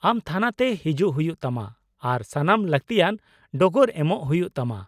-ᱟᱢ ᱛᱷᱟᱱᱟᱛᱮ ᱦᱤᱡᱩᱜ ᱦᱩᱭᱩᱜ ᱛᱟᱢᱟ ᱟᱨ ᱥᱟᱱᱟᱢ ᱞᱟᱹᱠᱛᱤᱭᱟᱱ ᱰᱚᱜᱚᱨ ᱮᱢᱚᱜ ᱦᱩᱭᱩᱜ ᱛᱟᱢᱟ ᱾